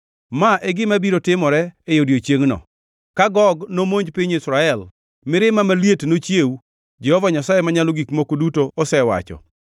Ma e gima biro timore e odiechiengno: Ka Gog nomonj piny Israel, mirimba maliet nochiew, Jehova Nyasaye Manyalo Gik Moko Duto osewacho.